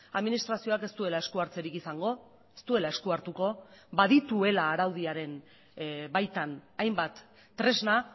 administrazioak ez duela eskuhartzerik izango ez duela esku hartuko badituela araudiaren baitan hainbat tresna